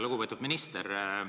Lugupeetud minister!